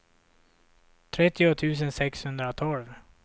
trettio tusen sexhundratolv